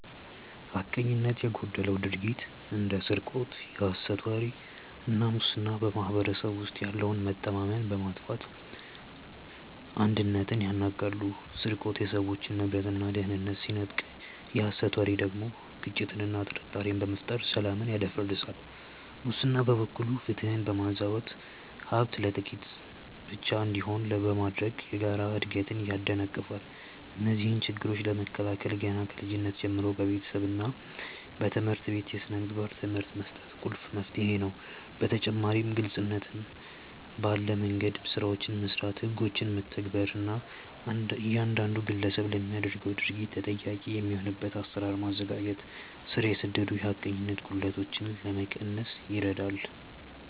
ሐቀኝነት የጎደለው ድርጊት እንደ ስርቆት፣ የሐሰት ወሬ እና ሙስና በማኅበረሰቡ ውስጥ ያለውን መተማመን በማጥፋት አንድነትን ያናጋሉ። ስርቆት የሰዎችን ንብረትና ደህንነት ሲነጥቅ፣ የሐሰት ወሬ ደግሞ ግጭትንና ጥርጣሬን በመፍጠር ሰላምን ያደፈርሳል። ሙስና በበኩሉ ፍትህን በማዛባትና ሀብት ለጥቂቶች ብቻ እንዲሆን በማድረግ የጋራ እድገትን ያደናቅፋል። እነዚህን ችግሮች ለመከላከል ገና ከልጅነት ጀምሮ በቤተሰብና በትምህርት ቤት የሥነ ምግባር ትምህርት መስጠት ቁልፍ መፍትሄ ነው። በተጨማሪም ግልጽነት ባለ መንደምገድ ስራዎችን መስራት፣ ህጎችን መተግበር እና እያንዳንዱ ግለሰብ ለሚያደርገው ድርጊት ተጠያቂ የሚሆንበትን አሰራር ማዘጋጀት ስር የሰደዱ የሐቀኝነት ጉድለቶችን ለመቀነስ ይረዳል።